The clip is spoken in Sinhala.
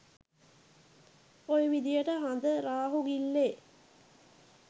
ඔය විදහට හඳ රාහු ගිල්ලේ